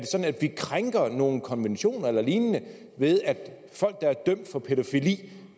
vi krænker nogen konventioner eller lignende ved at folk der er dømt for pædofili